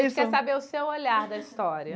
A gente quer saber o seu olhar da história.